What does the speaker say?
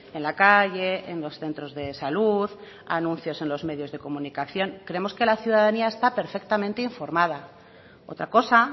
en la calle en los centros de salud anuncios en los medios de comunicación creemos que la ciudadanía está perfectamente informada otra cosa